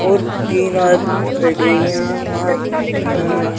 और तीन आदमी खड़े हुए हैं वहा पे। अ --